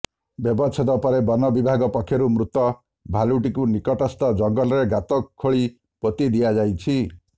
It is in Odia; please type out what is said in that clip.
ବ୍ୟବଚ୍ଛେଦ ପରେ ବନ ବିଭାଗ ପକ୍ଷରୁ ମୃତ ଭାଲୁଟିକୁ ନିକଟସ୍ଥ ଜଙ୍ଗଲରେ ଗାତ ଖୋଳି ପୋତି ଦିଆଯାଇଛି